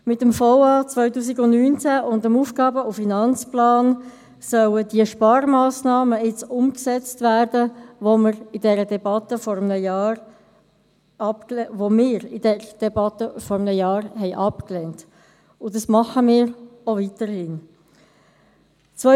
Mit dem VA 2019 und dem AFP sollen jetzt die Sparmassnahmen umgesetzt werden, die wir in dieser Debatte vor einem Jahr abgelehnt haben und das auch weiterhin tun.